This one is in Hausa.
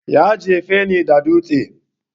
Ya jefe ni da dutse